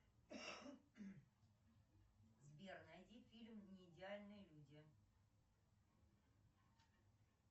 сбер найди фильм неидеальные люди